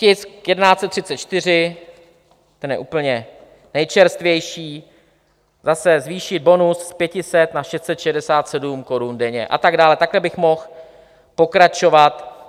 Tisk 1134, ten je úplně nejčerstvější, zase zvýšit bonus z 500 na 667 korun denně, a tak dále, takhle bych mohl pokračovat.